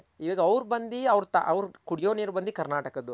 ಇವಾಗ ಅವ್ರ್ ಬಂದಿ ಅವ್ರ್ ಕುಡ್ಯೋ ನೀರ್ ಬಂದಿ ಕರ್ನಾಟಕದ್ದು